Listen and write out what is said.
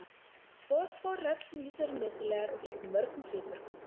Fosfór er öllum lífverum nauðsynlegur og gegnir mörgum hlutverkum.